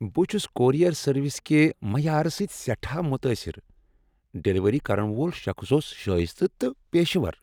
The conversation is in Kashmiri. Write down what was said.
بہٕ چھس کوریر سروس کہ معیار سۭتۍ سٮ۪ٹھاہ متٲثر۔ ڈلیوری کرن وول شخص اوس شٲیستہٕ تہٕ پیشور۔